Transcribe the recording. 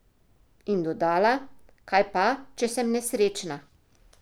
In dodala: 'Kaj pa, če sem nesrečna?